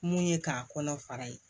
Mun ye k'a kɔnɔ fara ye